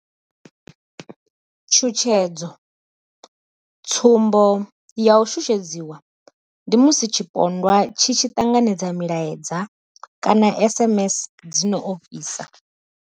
Tshutshedzo tsumbo ya u shushedzwa ndi musi tshipondwa tshi tshi ṱanganedza milaedza kana SMS dzi no ofhisa.